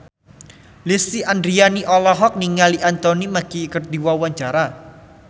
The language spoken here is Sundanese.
Lesti Andryani olohok ningali Anthony Mackie keur diwawancara